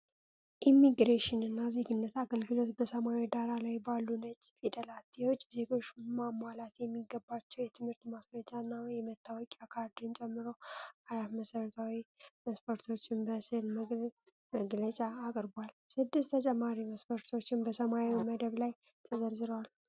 ኢሚግሬሽን እና ዜግነት አገልግሎት በሰማያዊ ዳራ ላይ ባሉ ነጭ ፊደላት፣ የውጭ ዜጎች ማሟላት የሚገባቸውን የትምህርት ማስረጃና የመታወቂያ ካርድን ጨምሮ አራት መሠረታዊ መስፈርቶችን በስዕል መግለጫ አቅርቧል። ስድስት ተጨማሪ መስፈርቶች በሰማያዊ መደብ ላይ ተዘርዝረዋል።